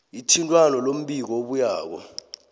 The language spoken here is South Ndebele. ithintwano lombiko obuyako